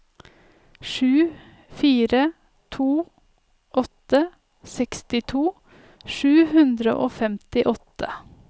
sju fire to åtte sekstito sju hundre og femtiåtte